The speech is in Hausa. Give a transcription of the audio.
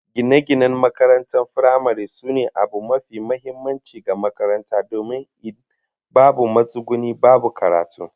Gine-ginen makarantar firamare sune abu mafi muhimmanci ga makarantar domin in babu matsuguni, babu karatu